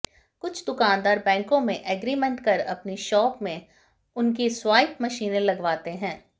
कुछ दुकानदार बैंकों से एग्रीमेंट कर अपनी शॉप में उनकी स्वाइप मशीनें लगवाते हैं